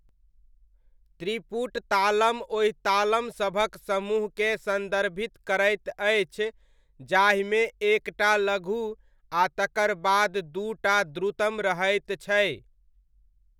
त्रिपुट तालम ओहि तालमसभक समूहकेँ सन्दर्भित करैत अछि, जाहिमे एक टा लघु आ तकर बाद दू टा द्रुतम रहैत छै।